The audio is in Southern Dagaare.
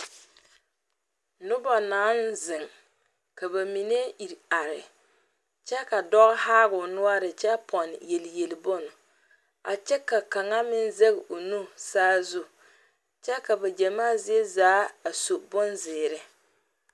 Noba naŋ zeŋ ka ba mine iri are, ka dɔɔ haa o noɔre kyɛ pɛgeli yeli yeli bon a kyɛ ka kaŋ meŋ zege o nu saazu kyɛ ka ba gyamaa zie zaa a su bonzeɛre.